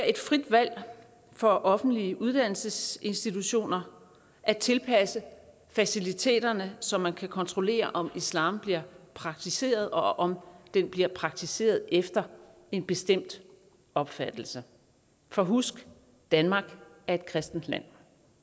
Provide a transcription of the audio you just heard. et frit valg for offentlige uddannelsesinstitutioner at tilpasse faciliteterne så man kan kontrollere om islam bliver praktiseret og om den bliver praktiseret efter en bestemt opfattelse for husk danmark er et kristent land